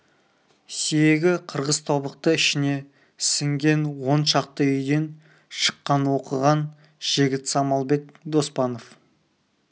сүйегі қырғыз тобықты ішіне сіңген он шақты үйден шыққан оқыған жігіт самалбек доспанов